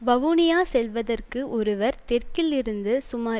வவுனியா செல்வதற்கு ஒருவர் தெற்கில் இருந்து சுமார்